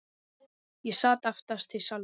Ég sat aftast í salnum.